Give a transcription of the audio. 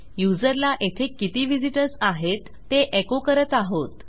युजरला येथे किती व्हिझिटर्स आहेत ते एको करत आहोत